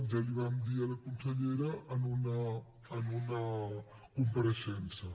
ja ho vam dir a la consellera en una compareixença